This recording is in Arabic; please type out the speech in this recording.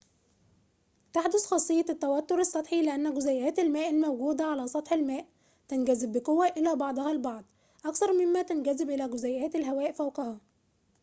تحدث خاصيّة التوتّر السّطحي لأنّ جزيئات الماء الموجودة على سطح الماء تنجذب بقوّة إلى بعضها البعض أكثر ممّا تنجذب إلى جزيئاتِ الهواءِ فوقها